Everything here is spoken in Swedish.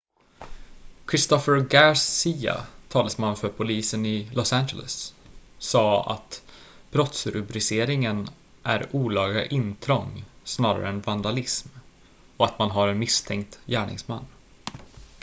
christopher garcia talesman för polisen i los angeles sade att brottsrubriceringen är olaga intrång snarare än vandalism och att man har en misstänkt gärningsman